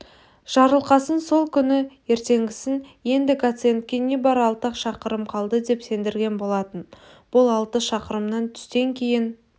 жарылқасын сол күні ертеңгісін енді гациендке небары алты-ақ шақырым қалды деп сендірген болатын бұл алты шақырымнан түстен кейін